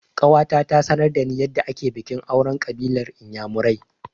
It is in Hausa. Ƙawata ta sanar da ni yadda ake bikin auren ƙabilar inyamurai